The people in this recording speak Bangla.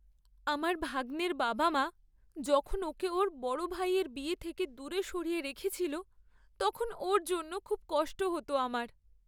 আমার ভাগ্নের বাবা মা যখন ওকে ওর বড় ভাইয়ের বিয়ে থেকে দূরে সরিয়ে রেখেছিল তখন ওর জন্য খুব কষ্ট হত আমার।